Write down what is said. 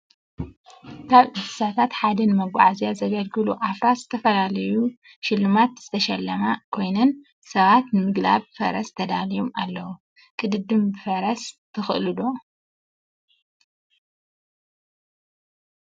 ካብ እንሰሳታት ሐደ ንመጋዓዝያ ዘገልግሉ አፍራስ ዝተፈለለዮ ሽልማት ዝተሸለማ ኮይነን ሰባት ንምግላብ ፈረስ ተዳልዮም አለው ።ቅድድም ብፈረስ ትክአ ዶ ?